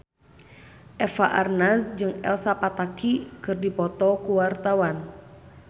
Eva Arnaz jeung Elsa Pataky keur dipoto ku wartawan